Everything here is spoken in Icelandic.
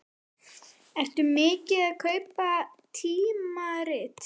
Ertu mikið að kaupa tímarit?